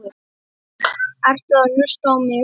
Ertu að hlusta á mig?